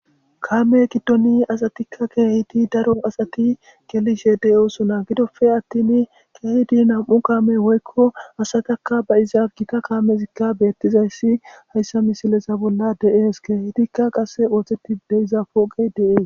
kaame giddoni asatikka keehidi daro asati gelishe deyosona gidofe attin keehidi nam7u kaame woykko hasatakka ba izaa gita kaamezikka beettizayssi hayssa misilesa bolla deees keehitikka qasse ooththeti deiza fooqey deees